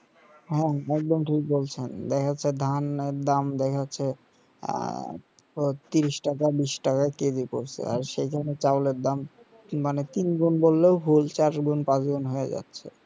হ্যাঁ একদম ঠিক বলছেন দেখা যাচ্ছে ধান দাম দেখাযাচ্ছে আহ ত্রিশ টাকা বিশ টাকা কেজি পড়ছে আর সেখানে চাউলএর দাম মানে তিন গুন্ বললেও মানে ভুল চার গুন্ পাঁচ গুন্ হয়ে যাচ্ছে